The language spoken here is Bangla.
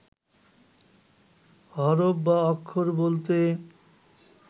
হরফ বা অক্ষর বলতে